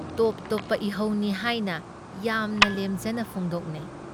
ꯇꯣꯞ ꯇꯣꯞꯄ ꯏꯍꯧꯅꯤ ꯍꯥꯏꯅ ꯌꯥꯝꯅ ꯂꯦꯝꯖꯅ ꯐꯣꯡꯗꯣꯛꯅꯩ ꯫